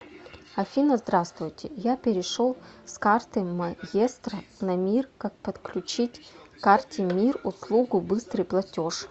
афина здравствуйте я перешел с карты маестро на мир как подключить к карте мир услугу быстрый платеж